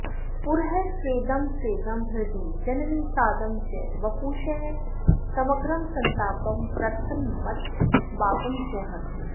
पुरः स्वेदं स्वेदं हृदि जननि सादं च वपुषः समग्रं सन्तापं प्रतनमथ पापं च हरति